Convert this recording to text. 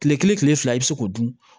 Kile kelen kile fila i be se k'o dun